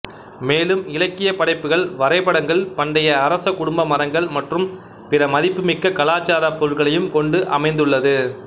மேலும் இலக்கியப் படைப்புகள் வரைபடங்கள் பண்டைய அரச குடும்ப மரங்கள் மற்றும் பிற மதிப்புமிக்க கலாச்சார பொருள்களையும் கொண்டு அமைந்துள்ளது